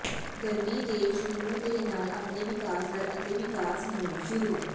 ਗਰਮੀ ਦੇ ਸ਼ੁਰੂ ਦੇ ਨਾਲ ਆਪਣੇ ਵਿਕਾਸ ਦਰ ਅਤੇ ਵਿਕਾਸ ਮੁੜ ਸ਼ੁਰੂ